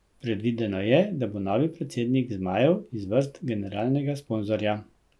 Predvideno je, da bo novi predsednik zmajev iz vrst generalnega sponzorja.